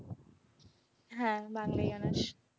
হ্যাঁ বাংলায় honors ছিল।